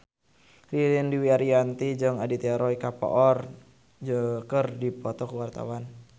Ririn Dwi Ariyanti jeung Aditya Roy Kapoor keur dipoto ku wartawan